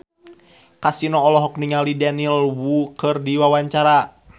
Kasino olohok ningali Daniel Wu keur diwawancara